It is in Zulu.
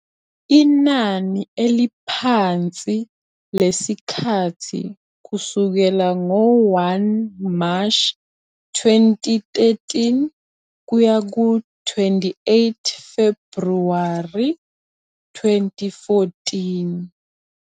Inani eliphansi lesikhathi kusukela ngo-1 Mashi 2013 kuya ku-28 Febhruwari 2014.